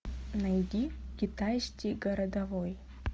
найди китайский городовой